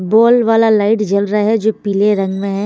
बोल वाला लाइट जल रह अहै जो पीले रंग में है।